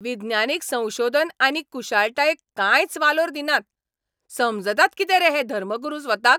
विज्ञानीक संशोधन आनी कुशळटायेक कांयच वालोर दिनात, समजतात कितें रे हे धर्मगुरू स्वताक?